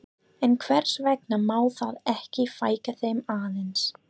En hvers vegna má þá ekki fækka þeim aðeins?